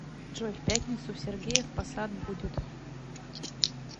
джой в пятницу в сергеев по сад будет